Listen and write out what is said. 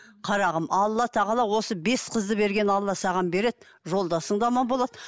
қарағым алла тағала осы бес қызды берген алла саған береді жолдасың да аман болады